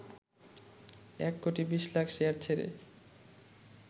১ কোটি ২০ লাখ শেয়ার ছেড়ে